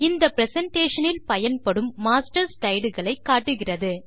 இந்த பிரசன்டேஷன் இல் பயன்படும் மாஸ்டர் ஸ்லைடு களை காட்டுகிறது